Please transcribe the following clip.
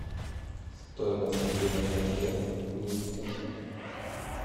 стоимость обмена тенге в минске